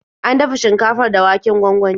An dafa shinkafar da waken gwangwani.